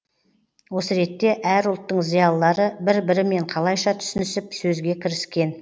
осы ретте әр ұлттың зиялылары бір бірімен қалайша түсінісіп сөзге кіріскен